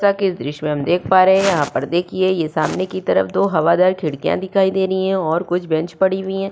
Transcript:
इस दृश्य में हम देख पा रहे हैं यहाँ पर देखिए यह सामने की तरफ दो हवादार खिड़कियां दिखाई दे रही हैं और कुछ बेंच पड़ी हुई है।